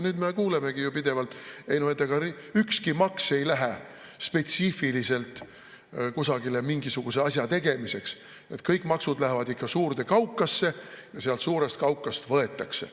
Nüüd me kuulemegi ju pidevalt: ei no ega ükski maks ei lähe spetsiifiliselt kusagile mingisuguse asja tegemiseks, kõik maksud lähevad ikka suurde kaukasse ja sealt suurest kaukast võetakse.